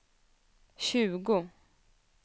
tjugo